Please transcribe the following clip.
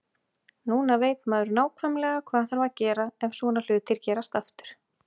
Núna veit maður nákvæmlega hvað þarf að gera ef svona hlutir gerast aftur.